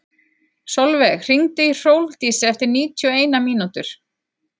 Solveig, hringdu í Hrólfdísi eftir níutíu og eina mínútur.